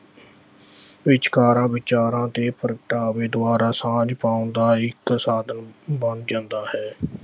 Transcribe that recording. ਵਿਚਕਾਰਾਂ ਵਿਚਾਰਾਂ ਤੇ ਪ੍ਰਗਟਾਵੇ ਦੁਆਰਾ ਸਾਂਝ ਪਾਉਣ ਦਾ ਇੱਕ ਸਾਧਨ ਬਣ ਜਾਂਦਾ ਹੈ।